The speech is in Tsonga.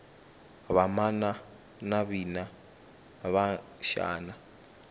vamana navina va xana